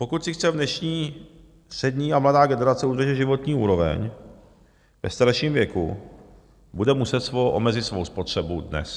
Pokud si chce dnešní střední a mladá generace udržet životní úroveň ve starším věku, bude muset omezit svou spotřebu dnes.